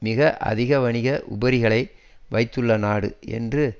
மிக அதிக வணிக உபரிகளை வைத்துள்ள நாடு என்று